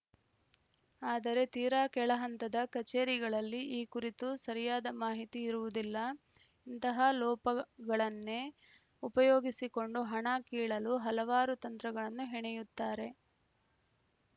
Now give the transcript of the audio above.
ಆದರೆ ತೀರಾ ಕೆಳಹಂತದ ಕಚೇರಿಗಳಲ್ಲಿ ಈ ಕುರಿತು ಸರಿಯಾದ ಮಾಹಿತಿ ಇರುವುದಿಲ್ಲ ಇಂತಹ ಲೋಪಗಳನ್ನೇ ಉಪಯೋಗಿಸಿಕೊಂಡು ಹಣ ಕೀಳಲು ಹಲವಾರು ತಂತ್ರಗಳನ್ನು ಹೆಣೆಯುತ್ತಾರೆ